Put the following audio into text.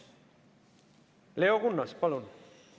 Leo Kunnas, palun!